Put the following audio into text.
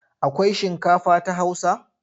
Akwai shinkafa ta Hausa?